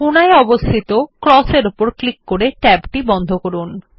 কোণায় অবস্থিত X এর উপর ক্লিক করে ট্যাবটি বন্ধ করুন